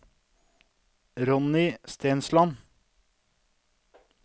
Ronny Stensland